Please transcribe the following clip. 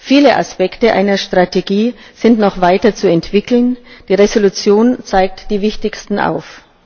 Viele Aspekte einer Strategie sind noch weiterzuentwickeln, die Entschließung zeigt die wichtigsten auf.